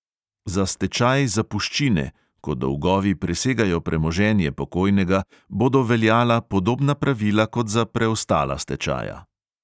Za stečaj zapuščine (ko dolgovi presegajo premoženje pokojnega) bodo veljala podobna pravila kot za preostala stečaja.